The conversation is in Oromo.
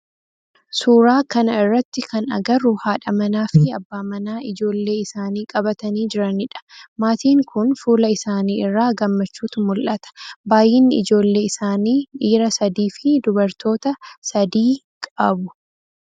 suuraa kana irratti kan agarru haadha manaa fi abbaa manaa ijoollee isaanii qabatanii jiranidha. maatiin kun fuula isaanii irraa gammachuutu mul'ata. baayyinnii ijoollee isaanii dhiira sadi fi dubartoota sadi qabu.